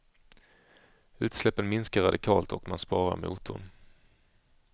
Utsläppen minskar radikalt och man sparar motorn.